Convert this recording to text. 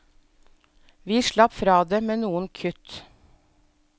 Vi slapp fra det med noen kutt.